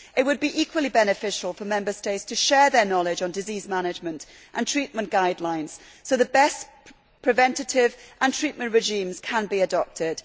It would be equally beneficial for Member States to share their knowledge on disease management and treatment guidelines so that the best preventative and treatment regimes can be adopted.